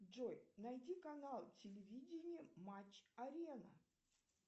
джой найди канал телевидения матч арена